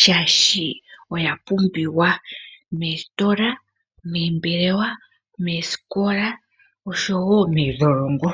shaashi oya pumbiwa, meesitola, meembelewa, meesikola osho woo meedholongo.